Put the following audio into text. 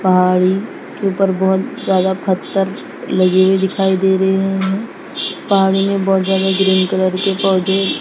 पहाड़ी के ऊपर बहोत ज्यादा पत्थर लगे हुए दिखाई दे रहे है हमे पानी में बहोत ज्यादा ग्रीन कलर के पौधे--